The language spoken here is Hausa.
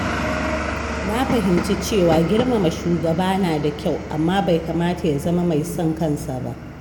Na fahimci cewa girmama shugaba na da kyau, amma bai kamata ya zama mai son kansa ba.